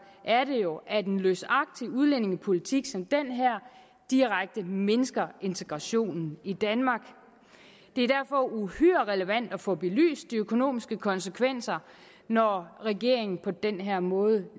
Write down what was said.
er det jo at en løsagtig udlændingepolitik som den her direkte mindsker integrationen i danmark det er derfor uhyre relevant at få belyst de økonomiske konsekvenser når regeringen på den her måde